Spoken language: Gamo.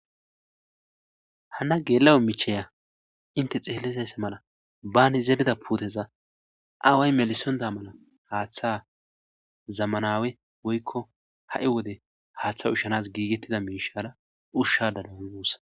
Hana geela7o micheya inte xeellizayssa mana baani zerida puuteza aaway melisonda mana haaththa zammanawe woykko ha7i wode haaththa ushanas giigettida miishara ushshada de'awus guussa.